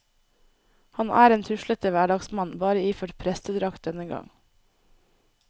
Han er en tuslete hverdagsmann, bare iført prestedrakt denne gang.